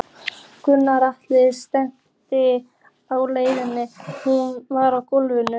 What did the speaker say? Gunnar Atli: Stemningin á leiðinni, hún var góð?